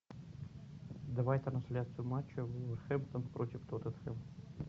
давай трансляцию матча вулверхэмптон против тоттенхэм